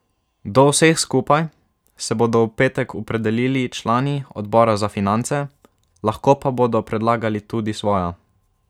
Do vseh skupaj se bodo v petek opredelili člani odbora za finance, lahko pa bodo predlagali tudi svoja.